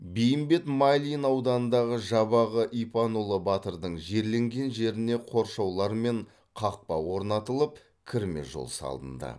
бейімбет майлин ауданындағы жабағы ипанұлы батырдың жерленген жеріне қоршаулар мен қақпа орнатылып кірме жол салынды